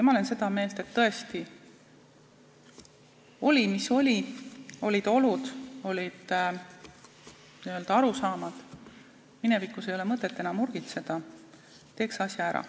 Ma olen seda meelt, et tõesti, oli mis oli, olid olud, olid n-ö arusaamad, aga minevikus ei ole mõtet enam urgitseda, teeks asja ära.